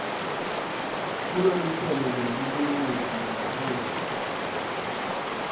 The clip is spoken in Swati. kuloluhlelo lwebulungisa lwendzabuko